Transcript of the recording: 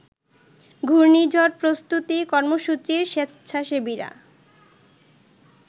ঘূর্ণিঝড় প্রস্তুতি কর্মসূচির স্বেচ্ছাসেবীরা